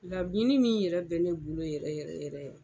Laɲini min yɛrɛ bɛ ne bolo yɛrɛ yɛrɛ ye